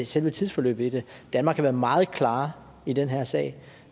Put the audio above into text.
selve tidsforløbet i det danmark har været meget klar i den her sag